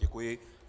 Děkuji.